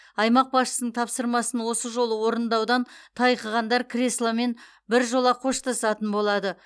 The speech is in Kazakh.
аймақ басшысының тапсырмасын осы жолы орындаудан тайқығандар кресломен бір жола қоштасатын болады